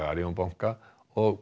Arion banka og